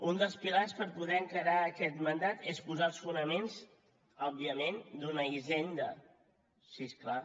un dels pilars per poder encarar aquest mandat és posar els fonaments òbviament d’una hisenda sí és clar